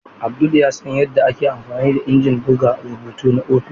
Abdul ya san yadda ake amfani da injin buga rubutu na ofis.